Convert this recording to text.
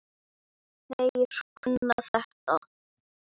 Þeir kunna þetta.